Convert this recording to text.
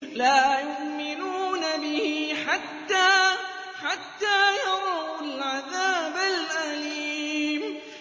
لَا يُؤْمِنُونَ بِهِ حَتَّىٰ يَرَوُا الْعَذَابَ الْأَلِيمَ